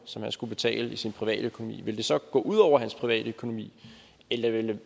som han skulle betale af sin privatøkonomi ville det så gå ud over hans privatøkonomi eller ville